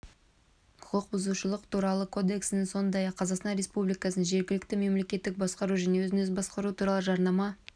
құқык бұзушылық туралы кодексіне сондай-ақ қазақстан республикасындағы жергілікті мемлекеттік басқару және өзін-өзі басқару туралы жарнама